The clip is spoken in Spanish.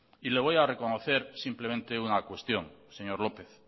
y le voy a reconocer simplemente una cuestión señor lópez